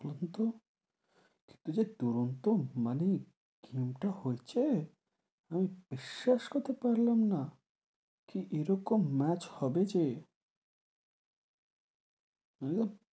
দুরন্ত কিন্তু যে দুরন্ত, মানে team টা হয়েছে, আমি বিশ্বাস করতে পারলাম না কি এরকম match হবে যে মানে,